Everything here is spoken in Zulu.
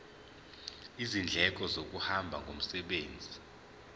izindleko zokuhamba ngomsebenzi